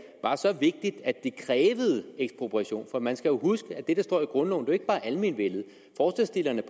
at det man skal huske på at det der står i grundloven jo ikke bare er almenvellet